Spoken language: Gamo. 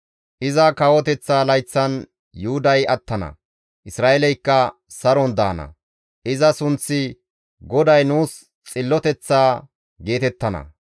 Iza kawoteththa layththan Yuhuday attana; Isra7eeleykka saron daana; iza sunththi, ‹GODAY Nuus Xilloteththa› geetettana.